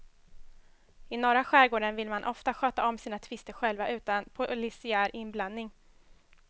I norra skärgården vill man ofta sköta om sina tvister själva utan polisiär inblandning.